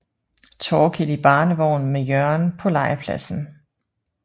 Torkild i barnevogn med Jørgen på legepladsen